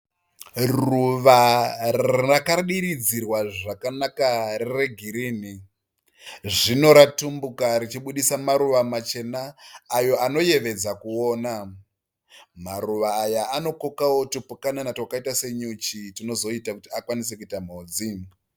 Ruva rakadiridzirwa zvakanaka regirini. Zvino ratumbuka richibudisa maruva machena ayo anoyevedza kuona. Maruva aya anokokawo tupukanana twakaita senyuchi tunozoita kuti akwanise kuita mhodzi.